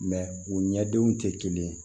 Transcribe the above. u ɲɛdenw tɛ kelen ye